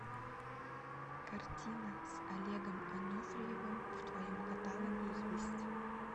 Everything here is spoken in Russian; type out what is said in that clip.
картина с олегом анофриевым в твоем каталоге есть